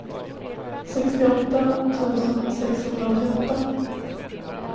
sextioåtta tusen sexhundraåttioåtta